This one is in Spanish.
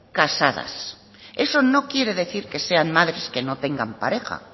casadas eso no quiere decir que sean madres que no tengan pareja